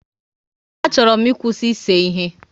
A chọrọ m ịkwụsị ise ihe